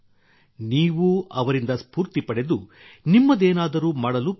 ನೀವೂ ಅವರಿಂದ ಸ್ಫೂರ್ತಿ ಪಡೆದು ನಿಮ್ಮದೇನಾದರೂ ಮಾಡಲು ಪ್ರಯತ್ನಿಸಿ